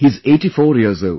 He is 84 years old